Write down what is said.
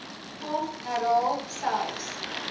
hom herhaal selfs